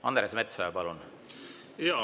Andres Metsoja, palun!